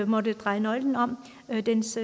måttet dreje nøglen om og dens